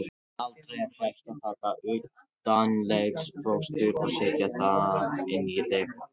Aldrei er hægt að taka utanlegsfóstur og setja það inn í legholið.